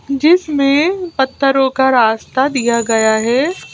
जिसमें पत्थरों का रास्ता दिया गया है।